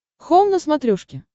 хоум на смотрешке